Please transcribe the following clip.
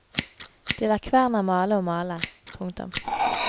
De lar kverna male og male. punktum